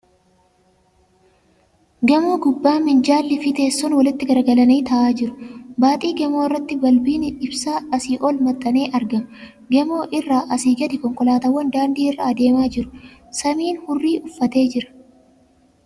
Gamoo gubbaa minjaalli fi teessoon walitti garagalanii taa'aa jiru . Baaxii gamoo irratti balbiin ibsaa asii ol maxxanee argama. Gamoo irraa asii gadi konkolaatawwan daandii irra adeemaa jiru. Samiin hurrii uffatee jira.